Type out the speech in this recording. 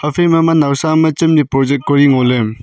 phaima ema naosa am e chamdi project kori ngo le.